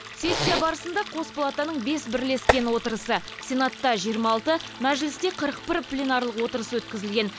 сессия барысында қос палатаның бес бірлескен отырысы сенатта жиырма алты мәжілісте қырық бір пленарлық отырыс өткізілген